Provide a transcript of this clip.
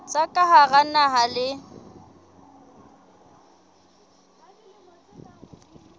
tsa ka hara naha le